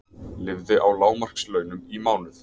Lifði á lágmarkslaunum í mánuð